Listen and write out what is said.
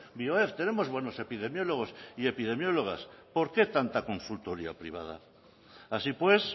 bioef tenemos buenos epidemiólogos y epidemiólogas por qué tanta consultoría privada así pues